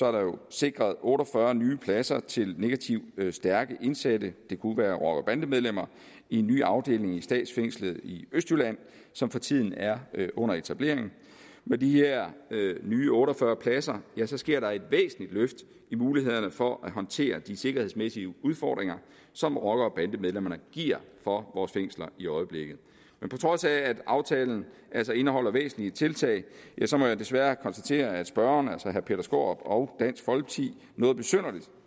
er der sikret otte og fyrre nye pladser til negativt stærke indsatte det kunne være rocker bande medlemmer i en ny afdeling i statsfængslet i østjylland som for tiden er under etablering med de her nye otte og fyrre pladser sker der et væsentligt løft i mulighederne for at håndtere de sikkerhedsmæssige udfordringer som rocker bande medlemmer giver for vores fængsler i øjeblikket men på trods af at aftalen altså indeholder væsentlige tiltag må jeg desværre konstatere at spørgeren altså herre peter skaarup og dansk folkeparti noget besynderligt